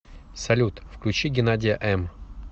салют включи геннадия эм